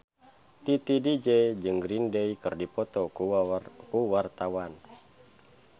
Titi DJ jeung Green Day keur dipoto ku wartawan